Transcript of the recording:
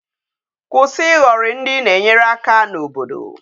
Kwụsị ịhọrị ndị i na-enyere aka n'obodo!